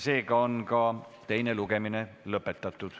Seega on teine lugemine lõpetatud.